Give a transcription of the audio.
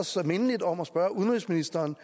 så mindeligt om at spørge udenrigsministeren